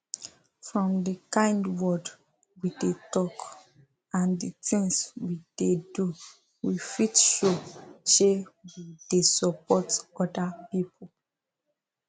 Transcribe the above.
from the kind word we dey talk and the things we dey do we fit show she we dey support other people